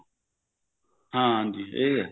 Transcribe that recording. ਹਾਂਜੀ ਇਹ ਹੈ